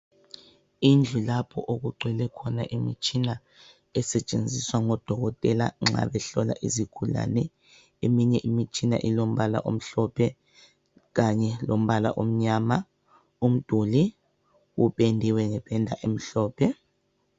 Indlu lapho okugcwele khona imitshina esetshenziswa ngodokotela nxa behlola izigulane. Eminye imitshina ilombala omhlophe, kanye lombala lomnyama. Umduli upendiwe ngependa emhlophe.